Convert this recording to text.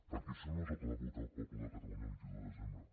perquè això no és el que va votar el poble de catalunya el vint un de desembre